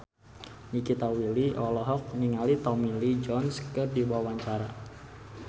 Nikita Willy olohok ningali Tommy Lee Jones keur diwawancara